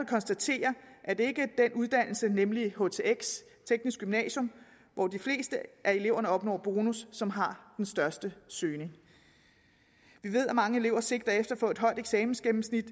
konstatere at det ikke er den uddannelse nemlig htx teknisk gymnasium hvor de fleste af eleverne opnår bonus som har den største søgning vi ved at mange elever sigter efter at få et højt eksamensgennemsnit